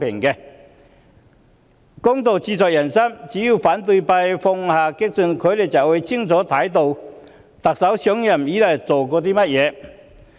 公道自在人心，只要反對派放下激進，就能清楚看到特首上任以來所做的工作。